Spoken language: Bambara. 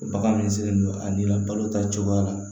Bagan min sigilen don a n'i la balo ta cogoya la